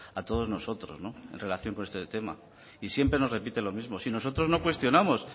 a todos nosotros en relación con este tema y siempre nos repite lo mismo si nosotros no cuestionamos